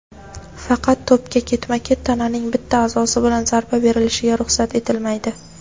Faqat to‘pga ketma-ket tananing bitta a’zosi bilan zarba berilishiga ruxsat etilmaydi.